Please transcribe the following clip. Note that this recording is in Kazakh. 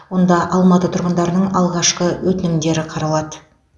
онда алматы тұрғындарының алғашқы өтінімдері қаралады